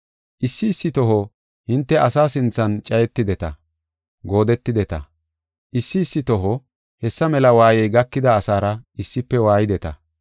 Issi issi toho hinte asa sinthan cayetideta; goodetideta; issi issi toho hessa mela waayey gakida asaara issife waayideta.